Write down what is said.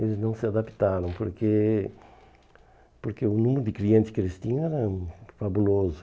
Eles não se adaptaram porque porque o número de clientes que eles tinham era fabuloso.